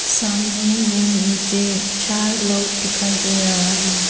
सामने में मुझे चार लोग दिखाई दे रहा है।